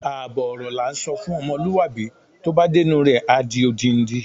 Àbọ̀ ọ̀rọ̀ lá ǹsọ fún ọmọlúwàbí, tó bá dé inú rẹ̀, a di odindi.